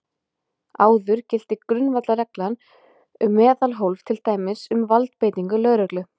Áður gilti grundvallarregla um meðalhóf, til dæmis um valdbeitingu lögreglu.